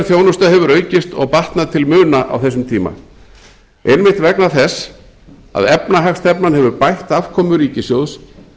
þjónusta hefur aukist og batnað til muna á þessum tíma einmitt vegna þess að efnahagsstefnan hefur bætt afkomu ríkissjóðs